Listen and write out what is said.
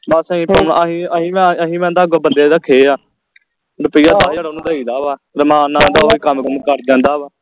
ਬਸ ਅਹੀ ਕੰਮ ਅਹੀ ਅਹੀ ਵੀ ਅਹੀ ਵੀ ਆਂਦਾ ਅੱਗੋ ਬੰਦੇ ਰੱਖੇ ਆ ਰੁਪਿਆ ਦਸ ਹਾਜਰ ਓਹਨੂੰ ਦਈਦਾ ਵਾ ਰਮਾਨ ਨਾਲ ਆਂਦਾ ਓਹੀ ਕੰਮ ਕੁਰ ਕਰੀ ਜਾਂਦਾ ਵਾ